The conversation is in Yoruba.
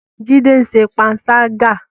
Jide ń ṣe panṣágà